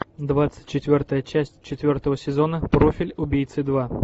двадцать четвертая часть четвертого сезона профиль убийцы два